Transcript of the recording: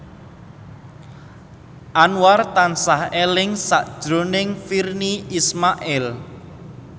Anwar tansah eling sakjroning Virnie Ismail